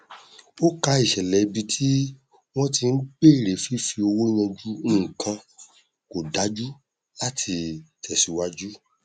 ó ká ìṣẹlẹ ibi tí wọn ti n bèrè fífi owó yanjú nnkan kò dájú láti tẹsíwájú